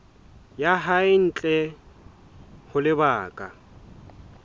ya hae ntle ho lebaka